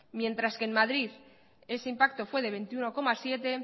mientras que en madrid ese impacto fue de veintiuno coma siete